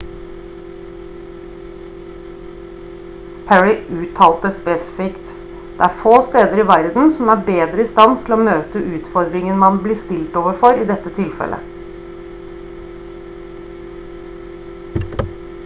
perry uttalte spesifikt «det er få steder i verden som er bedre i stand til å møte utfordringen man blir stilt overfor i dette tilfellet»